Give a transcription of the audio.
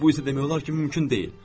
Bu isə demək olar ki, mümkün deyil.